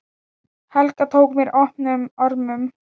Helga tók mér opnum örmum.